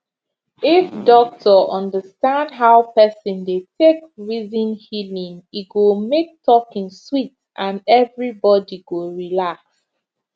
if doctor understand how person dey take reason healing e go make talking sweet and everybody go relax